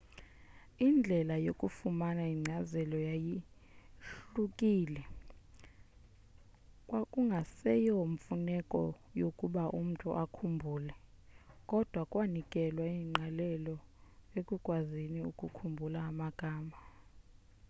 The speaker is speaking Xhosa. indlela yokufumana inkcazelo yayahlukile kwakungaseyo mfuneko yokuba umntu akhumbule kodwa kwanikelwa ingqalelo ekukwazini ukukhumbula amagama